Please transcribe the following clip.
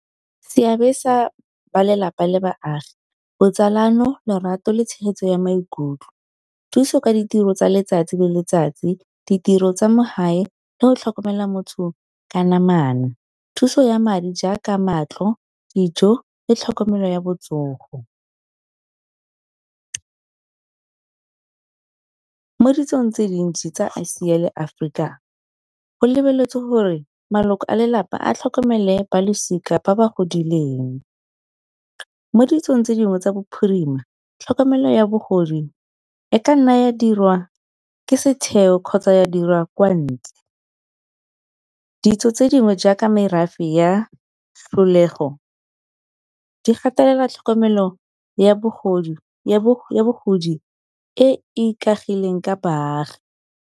Seabe sa ba lelapa le baagi botsalano lorato le tshegetso ya maikutlo, thuso ka ditiro tsa letsatsi le letsatsi, ditiro tsa mo gae le go tlhokomela motho ka namana, thuso ya madi jaaka matlo, dijo le tlhokomelo ya botsogo. Mo ditsong tse dintsi tsa Asia le Aforika go lebeletswe gore maloko a lelapa a tlhokomele balosika ba ba godileng, mo ditsong tse dingwe tsa bo phirima tlhokomelo ya bogodi e ka nna ya dirwa ke setheo kgotsa ya dirwa kwa ntle. Ditso tse dingwe jaaka merafe ya di gatelela tlhokomelo ya bogodi e ikaegileng ka baagi.